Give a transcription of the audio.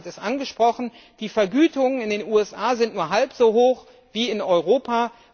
Herr Brons hat es angesprochen Die Vergütungen in den USA sind nur halb so hoch wie in Europa.